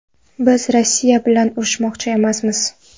Biz Rossiya bilan urushmoqchi emasmiz”.